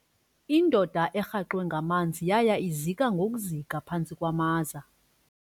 Indoda erhaxwe ngamanzi yaya ngokuzika ngokuzika phantsi kwamaza.